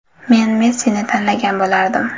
Men Messini tanlagan bo‘lardim.